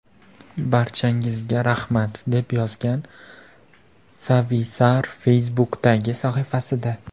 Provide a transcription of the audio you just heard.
Barchangizga rahmat!” deb yozgan Savisaar Facebook’dagi sahifasida.